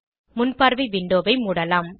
முன்பார்வை விண்டோவை மூடலாம்